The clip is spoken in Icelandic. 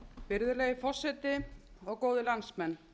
virðulegi forseti góðir landsmenn